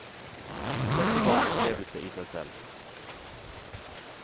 Dette var en opplevelse i seg selv.